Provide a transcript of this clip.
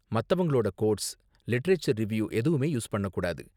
மத்தவங்களோட quotes, literature review எதுவுமே use பண்ணக் கூடாது.